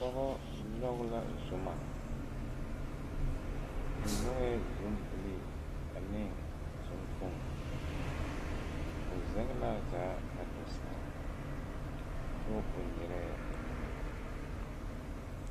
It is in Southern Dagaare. Dɔba nyɔge la zuma ba nyɔge la zumbilee ane zuŋkpoŋ o zɛge la a zaa kaa do saa kyɛ o nyerɛɛ o nyemɛ.